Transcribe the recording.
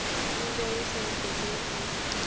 injuries and diseases